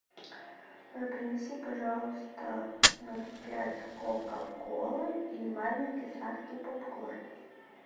а принеси пожалуйста ноль пять кока колы и маленький сладкий попкорн